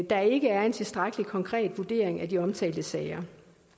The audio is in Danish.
der ikke er en tilstrækkelig konkret vurdering af de omtalte sager